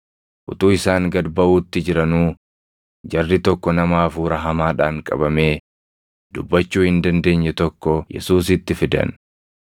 Utuu isaan gad baʼuutti jiranuu jarri tokko nama hafuura hamaadhaan qabamee dubbachuu hin dandeenye tokko Yesuusitti fidan.